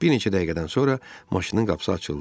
Bir neçə dəqiqədən sonra maşının qapısı açıldı.